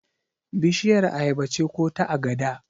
Bishiyar ayaba ce ko ta agada?